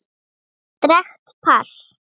Sterkt pass.